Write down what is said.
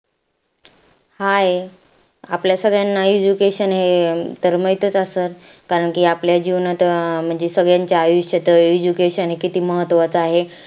Hi आपल्या सगळ्यांना education म्हणजे माहित च असेल कारण कि आपल्या जीवनात म्हणजे सगळ्यांच्या आयुष्यात education किती महत्वाचं आहे